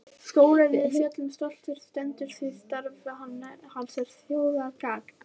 Skólinn við fjöllin stoltur stendur því starf hans er þjóðargagn.